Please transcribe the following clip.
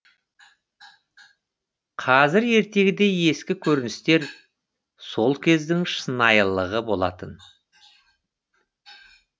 қазір ертегідей ескі көріністер сол кездің шынайлылығы болатын